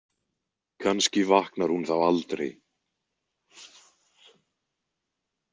Kannski vaknar hún þá aldrei.